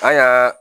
An y'a